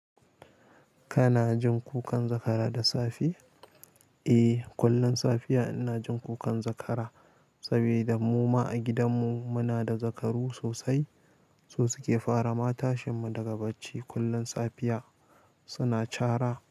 Kana jin kukan zakara da safe? Eh, kullum safiya ina jin kukan zakara saboda mu ma a gidanmu muna da zakaru sosai. Su suke fara matashinmu daga bacci kullum safiya suna cara.